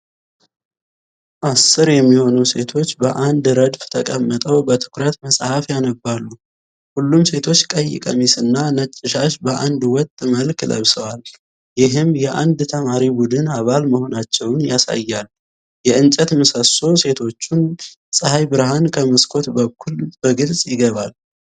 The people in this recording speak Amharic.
አሥር የሚሆኑ ሴቶች በአንድ ረድፍ ተቀምጠው በትኩረት መጽሐፍ ያነባሉ። ሁሉም ሴቶች ቀይ ቀሚስና ነጭ ሻሽ በአንድ ወጥ መልክ ለብሰዋል፣ ይህም የአንድ ዘማሪ ቡድን አባል መሆናቸውን ያሳያል። የእንጨት ምሰሶ ሴቶቹን የፀሐይ ብርሃን ከመስኮት በኩል በግልጽ ይገባል።